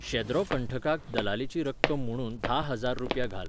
शेद्रो कंठकाक दलालीची रक्कम म्हुणून धा हजार रुपया घाल